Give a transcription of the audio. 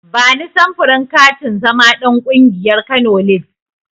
Bani samfurin katin zama ɗan ƙungiyar Kano lids.